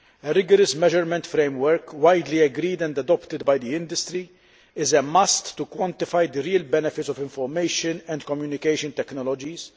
A rigorous measurement framework, widely agreed and adopted by the industry, is a must to quantify the real benefits of information and communication technologies.